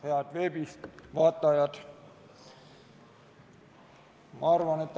Head veebis vaatajad!